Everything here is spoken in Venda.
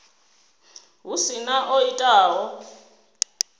hu si na o itaho